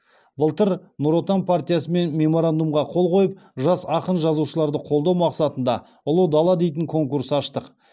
былтыр нұр отан партиясымен меморандумға қол қойып жас ақын жазушыларды қолдау мақсатында ұлы дала дейтін конкурс аштық